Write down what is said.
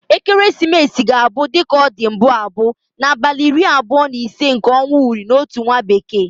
Ekeresimesi ga-abu, dika o di mbu abu, na abali iri abuo na ise nke onwa uri na Otu nwa bekee.